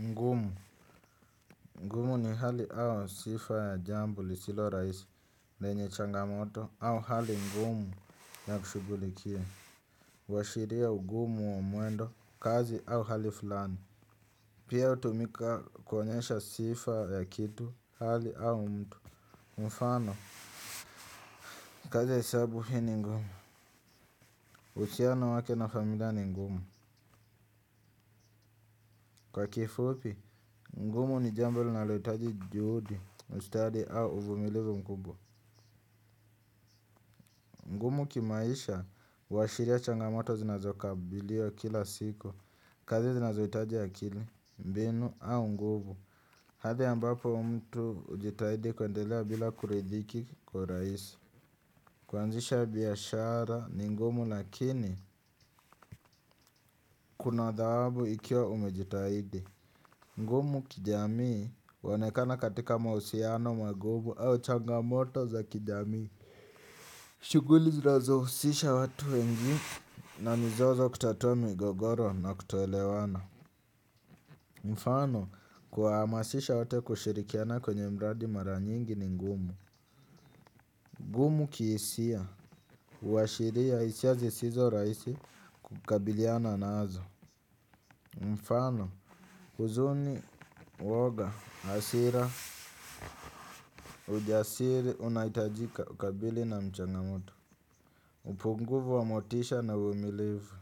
Ngumu, ngumu ni hali au sifa ya jambo lisilo rahisi lenye changamoto au hali ngumu ya kushughulikia. Huashiria ugumu wa mwendo kazi au hali fulani. Pia hutumika kuonyesha sifa ya kitu, hali au mtu, mfano. Kazi ya hesabu hii ni ngumu. Uhusiano wake na familia ni ngumu. Kwa kifupi, ngumu ni jambo linalohitaji juhudi ustadi au uvumilivu mkubwa. Ngumu kimaisha, huashiria changamoto zinazokabiliwa kila siku, kazi zinazohitaji akili. Mbinu au nguvu. Hadhi ambapo mtu hujitahidi kuendelea bila kuridhiki kwa rahisi. Kuanzisha biashara ni ngumu lakini, kuna dhahabu ikiwa umejitahidi. Ngumu kijamii huonekana katika mahusiano magumu au changamoto za kijamii. Shughuli zinazohusisha watu wengi na mizozo kutatua migogoro na kutoelewana. Mfano kuwahamasisha wote kushirikiana kwenye mradi mara nyingi ni ngumu. Ngumu kihisia, huashiria hisia zisizorahisi kukabiliana nazo. Mfano, huzuni, uwoga, hasira, ujasiri unahitajika kukabili na changamoto. Upungufu wa motisha na uvumilivu